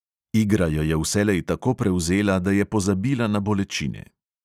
Igra jo je vselej tako prevzela, da je pozabila na bolečine.